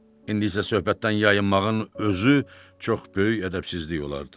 İndisə söhbətdən yayınmağın özü çox böyük ədəbsizlik olardı.